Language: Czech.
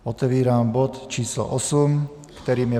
Otevírám bod č. 8, kterým je